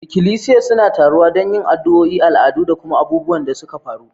Ikilisiya suna taruwa don yin addu'o'i, al'adu, da kuma abubuwan da suka faru.